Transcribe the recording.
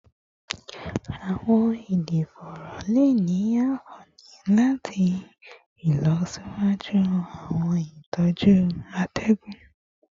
Awọn ẹdọforo le ni anfani lati ilọsiwaju awọn itọju atẹgun